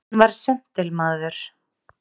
Hann var séntilmaður.